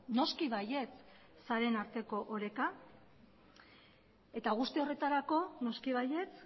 noski baietz sareen arteko oreka eta guzti horretarako noski baietz